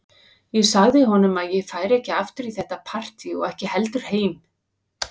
Ég sagði honum að ég færi ekki aftur í þetta partí og ekki heldur heim.